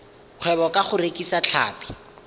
kgwebo ka go rekisa tlhapi